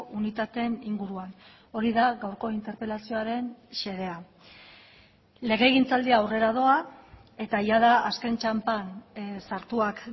unitateen inguruan hori da gaurko interpelazioaren xedea legegintzaldia aurrera doa eta jada azken txanpan sartuak